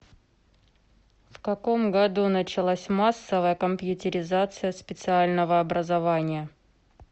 в каком году началась массовая компьютеризация специального образования